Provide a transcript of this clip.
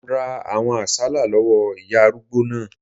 Mo ra àwọn àsálà lọ́wọ́ ìyá arúgbó náà